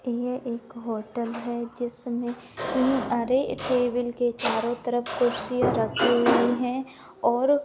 यह एक होटल है जिसमे अरे टेबल के चारों तरफ कुर्सीया रखी हुई है और--